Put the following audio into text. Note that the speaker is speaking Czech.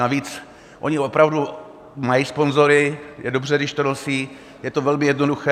Navíc oni opravdu mají sponzory, je dobře, když to nosí, je to velmi jednoduché.